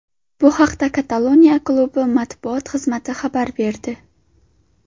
Bu haqda Kataloniya klubi matbuot xizmati xabar berdi .